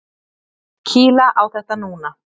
Kýla á þetta núna!